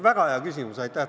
Väga hea küsimus!